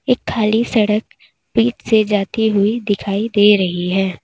एक खाली सड़क बीच से जाती हुई दिखाई दे रही है।